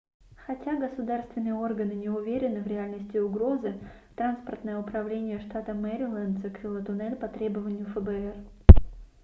хотя государственные органы не уверены в реальности угрозы транспортное управление штата мэриленд закрыло туннель по требованию фбр